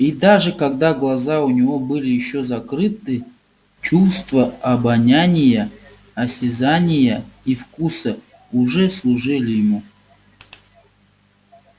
и даже когда глаза у него были ещё закрыты чувства обоняния осязания и вкуса уже служили ему